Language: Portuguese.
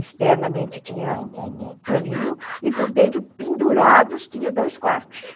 Externamente tinha um paninho e por dentro, pendurados, tinha dois quartos.